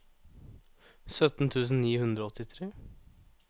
sytten tusen ni hundre og åttitre